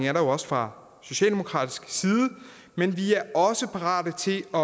er der også fra socialdemokratisk side men vi er også parate til at